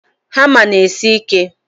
Hama n'esi ike